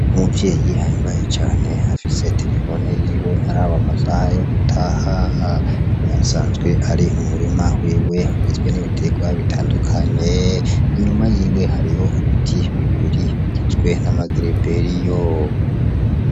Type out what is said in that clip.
Umuvyeyi ahimbaye cane afise terefone yiwe araba amasaha yo gutaha, asanzwe ari mu murima wiwe ugizwe n'ibiterwa bitandukanye, inyuma yiwe hariyo ibiti bibiri bigizwe n'amagereveriyo.